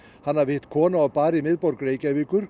hann hafi hitt konu á bar í miðborg Reykjavíkur